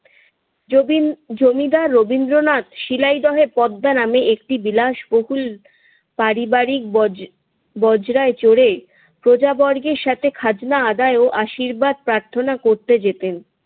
যবীন জমিদার রবীন্দ্রনাথ শিলাইদহে পদ্মা নামে একটি বিলাসবহুল পারিবারিক বজ ~ বজ্রায় চড়ে প্রজাবর্গের সঙ্গে খাজনা আদায় ও আশীর্বাদ প্রার্থনা করতে যেতেন।